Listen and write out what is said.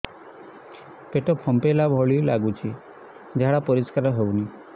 ପେଟ ଫମ୍ପେଇଲା ଭଳି ଲାଗୁଛି ଝାଡା ପରିସ୍କାର ହେଉନି